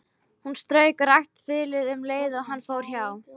Hann strauk rakt þilið um leið og hann fór hjá.